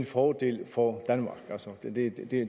fordel for os